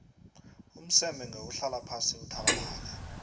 umseme ngewuhlala phasi uthabalale